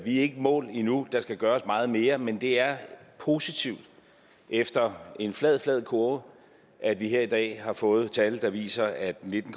i mål endnu der skal gøres meget mere men det er positivt efter en flad flad kurve at vi her i dag har fået tal der viser at nitten